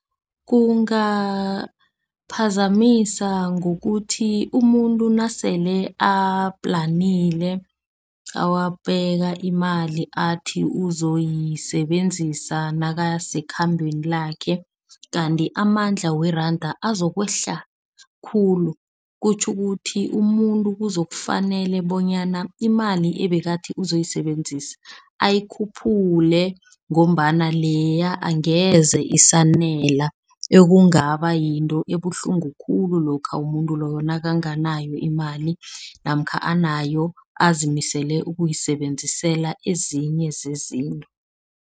Kungaphazamisa ngokuthi umuntu nasele aplanile, wabeka imali athi uzoyisebenzisa nakasekhambeni lakhe. Kanti amandla weranda azokwehla khulu. Kutjho ukuthi umuntu uzokufanele bonyana, imali ebekathi uzoyisebenzisa ayikhuphule ngombana leya angeze isanela. Ekungaba yinto ebuhlungu khulu lokha umuntu loyo nakanganayo imali namkha anayo azimisele ukuyisebenzisela ezinye zezinto.